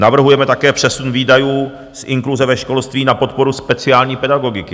Navrhujeme také přesun výdajů z inkluze ve školství na podporu speciální pedagogiky.